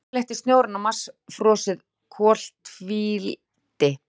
Yfirleitt er snjórinn á Mars frosið koltvíildi.